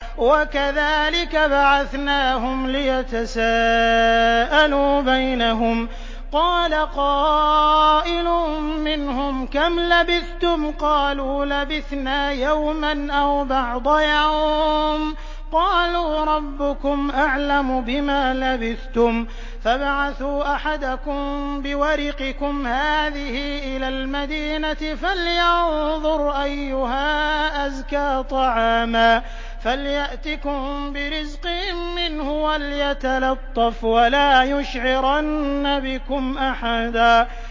وَكَذَٰلِكَ بَعَثْنَاهُمْ لِيَتَسَاءَلُوا بَيْنَهُمْ ۚ قَالَ قَائِلٌ مِّنْهُمْ كَمْ لَبِثْتُمْ ۖ قَالُوا لَبِثْنَا يَوْمًا أَوْ بَعْضَ يَوْمٍ ۚ قَالُوا رَبُّكُمْ أَعْلَمُ بِمَا لَبِثْتُمْ فَابْعَثُوا أَحَدَكُم بِوَرِقِكُمْ هَٰذِهِ إِلَى الْمَدِينَةِ فَلْيَنظُرْ أَيُّهَا أَزْكَىٰ طَعَامًا فَلْيَأْتِكُم بِرِزْقٍ مِّنْهُ وَلْيَتَلَطَّفْ وَلَا يُشْعِرَنَّ بِكُمْ أَحَدًا